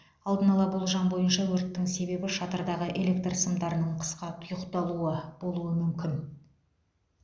алдын ала болжам бойынша өрттің себебі шатырдағы электр сымдарының қысқа тұйықталуы болуы мүмкін